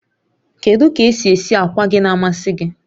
Kedu ka esi esi akwa gị na-amasị gị?